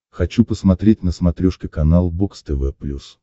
хочу посмотреть на смотрешке канал бокс тв плюс